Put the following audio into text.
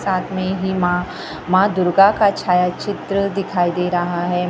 साथ मे ही मां मां दुर्गा का छाया चित्र दिखाई दे रहा है।